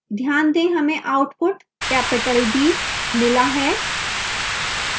ध्यान दें हमें output capital d मिला है